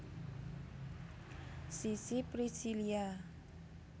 Sissy Priscillia